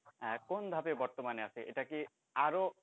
এখন ধাপে বর্তমানে আছে এটাকে আরো।